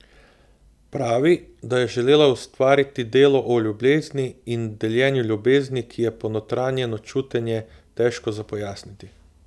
Pravi, da je želela ustvariti delo o ljubezni in deljenju ljubezni, ki je ponotranjeno čutenje, težko za pojasniti.